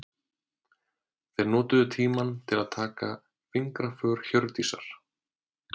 Þeir notuðu tímann til að taka fingraför Hjördísar.